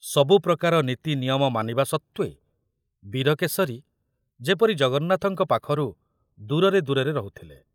ସବୁ ପ୍ରକାର ନୀତି ନିୟମ ମାନିବା ସତ୍ତ୍ବେ ବୀରକେଶରୀ ଯେପରି ଜଗନ୍ନାଥଙ୍କ ପାଖରୁ ଦୂରରେ ଦୂରରେ ରହୁଥିଲେ।